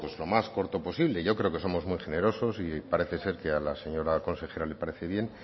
lo más corto posible yo creo que somos muy generosos y parece ser que a la señora consejera le parece bien